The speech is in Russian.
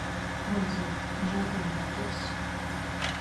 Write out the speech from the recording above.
отзывы джапанмоторс